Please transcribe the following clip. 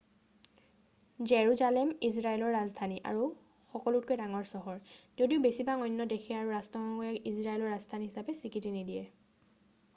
Jerusalem ইজৰাইলৰ ৰাজধানী আৰু সকলোতকৈ ডাঙৰ চহৰ যদিও বেছিভাগ অন্য দেশে আৰু ৰাষ্ট্ৰসংঘই ইয়াক ইজৰাইলৰ ৰাজধানী হিচাপে স্বীকৃতি নিদিয়ে